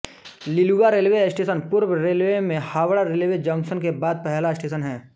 Liluah railway station पूर्व railway में Howrah railway junction के बाद पैहला स्टेशन है